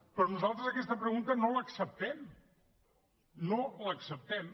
però nosaltres aquesta pregunta no l’acceptem no l’acceptem